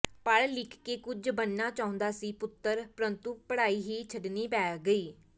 ਪੜ੍ਹ ਲਿਖ ਕੇ ਕੁਝ ਬਣਨਾ ਚਾਹੁੰਦਾ ਸੀ ਪੁੱਤਰ ਪ੍ਰੰਤੂ ਪੜ੍ਹਾਈ ਹੀ ਛੱਡਣੀ ਪੈ ਗਈ